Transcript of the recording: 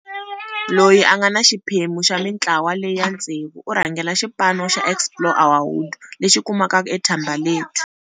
Loyi a nga xiphemu xa mitlawa leya ntsevu, u rhangela xipa no xa Explore our Hood, lexi kumekaka eThembalethu.